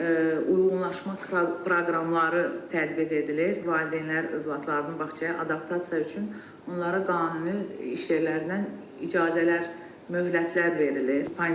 uyğunlaşmaq proqramları tətbiq edilir, valideynlər övladlarının bağçaya adaptasiyası üçün onlara qanuni iş yerlərindən icazələr möhlətlər verilir.